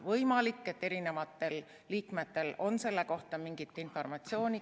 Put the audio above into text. Võimalik, et mõnel liikmel on selle kohta rohkem informatsiooni.